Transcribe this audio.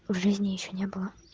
в жизни ещё не было